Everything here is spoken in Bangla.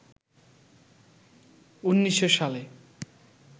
১৯০০ সালে